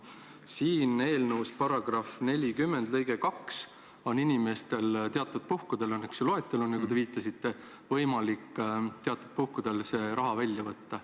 Selle eelnõu § 40 lõike 2 järgi on inimestel teatud puhkudel – on üks loetelu, millele te viitasite – võimalik kogutud raha välja võtta.